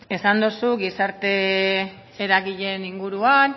esan dozu gizarte eragileen inguruan